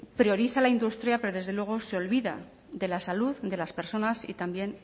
prioriza la industria pero desde luego se olvida de la salud de las personas y también